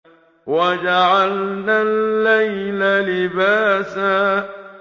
وَجَعَلْنَا اللَّيْلَ لِبَاسًا